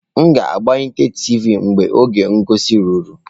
M ga-agbanye tiivi mgbe oge ngosi ruru.